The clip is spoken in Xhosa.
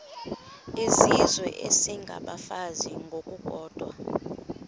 izizwe isengabafazi ngokukodwa